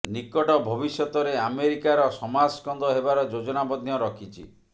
ନିକଟ ଭବିଷ୍ୟତରେ ଆମେରିକାର ସମାସ୍କନ୍ଧ ହେବାର ଯୋଜନା ମଧ୍ୟ ରଖିଛି